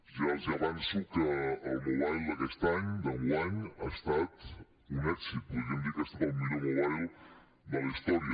ja els avanço que el mobile d’aquest any d’enguany ha estat un èxit podríem dir que ha estat el millor mobile de la història